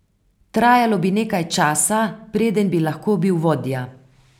Trajalo bi nekaj časa, preden bi lahko bil vodja.